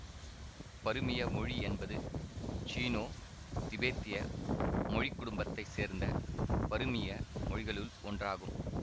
பருமிய மொழி என்பது சீனோ திபெத்திய மொழிக்குடும்பத்தை சேர்ந்த பருமிய மொழிகளுள் ஒன்றாகும்